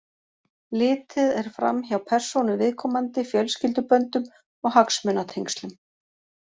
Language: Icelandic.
Litið er fram hjá persónu viðkomandi, fjölskylduböndum og hagsmunatengslum.